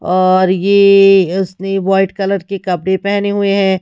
और ये उसने व्हाईट कलर के कपड़े पहने हुए हैं।